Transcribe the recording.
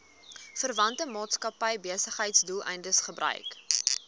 verwante maatskappybesigheidsdoeleindes gebruik